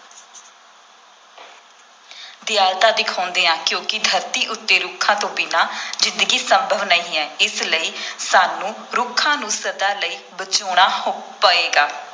ਦਿਆਲਤਾ ਦਿਖਾਉਂਦੇ ਹਾਂ ਕਿਉਂਕਿ ਧਰਤੀ ਉੱਤੇ ਰੁੱਖਾਂ ਤੋਂ ਬਿਨਾਂ ਜ਼ਿੰਦਗੀ ਸੰਭਵ ਨਹੀਂ ਹੈ, ਇਸ ਲਈ ਸਾਨੂੰ ਰੁੱਖਾਂ ਨੂੰ ਸਦਾ ਲਈ ਬਚਾਉਣਾ ਪਏਗਾ।